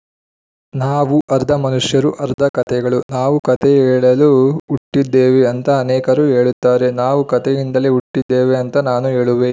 ನಾವು ಅರ್ಧ ಮನುಷ್ಯರು ಅರ್ಧ ಕತೆಗಳು ನಾವು ಕತೆ ಹೇಳಲು ಹುಟ್ಟಿದ್ದೇವೆ ಅಂತ ಅನೇಕರು ಹೇಳುತ್ತಾರೆ ನಾವು ಕತೆಯಿಂದಲೇ ಹುಟ್ಟಿದ್ದೇವೆ ಅಂತ ನಾನು ಹೇಳುವೆ